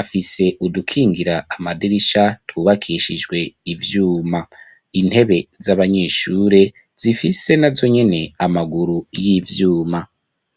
afise udukingira amadirisha twubakishijwe ivyuma intebe z'abanyeshure zifise na zonyene amaguru y'ivyuma.